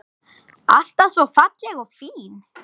Alltaf svo falleg og fín.